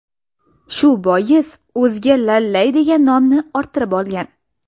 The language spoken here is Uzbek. Shu bois o‘ziga Lallay degan nomni orttirib olgan.